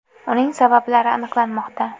Uning sabablari aniqlanmoqda.